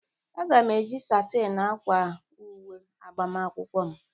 A ga-eji satin akwa uwe agbamakwụkwọ m